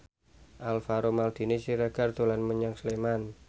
Alvaro Maldini Siregar dolan menyang Sleman